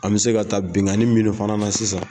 An bɛ se ka taa binganin mini fana na sisan.